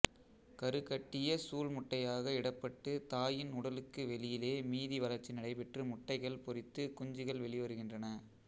கருக்கட்டிய சூல் முட்டையாக இடப்பட்டுத் தாயின் உடலுக்கு வெளியிலே மீதி வளர்ச்சி நடைபெற்று முட்டைகள் பொரித்துக் குஞ்சுகள் வெளிவருகின்றன